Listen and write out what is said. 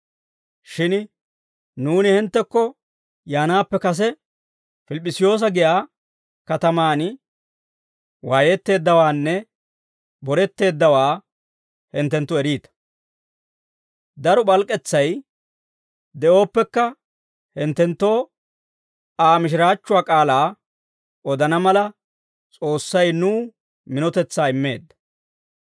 Shin nuuni hinttekko yaanaappe kase Pilip'p'isiyoosa giyaa katamaan waayetteeddawaanne boretteeddawaa hinttenttu eriita; daro p'alk'k'etsay de'ooppekka, hinttenttoo Aa mishiraachchuwaa k'aalaa odana mala, S'oossay nuw minotetsaa immeedda.